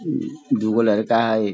दूगो लड़का हई।